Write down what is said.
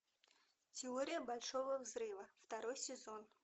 теория большого взрыва второй сезон